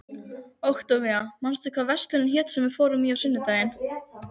Októvía, manstu hvað verslunin hét sem við fórum í á sunnudaginn?